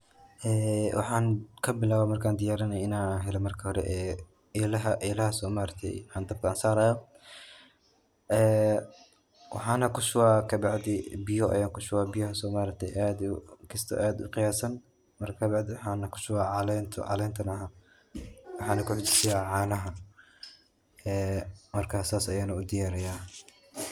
Ee waxan kabilawe markan diyaarinayo inan helo marka hore ee elaha, elahaas oo ma aragte an dabka sarayo ee waxana kushuba kabacdi biyo ayan kushuba, biyahaas ma aragte kisto aad u qiyaasan marka bacdi waxan kushuba caleen, caleenta waxana kuxijisiya caanaha ee marka sas ayana udhiyaariya